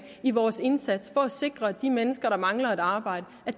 i vores indsats for at sikre at de mennesker der mangler et arbejde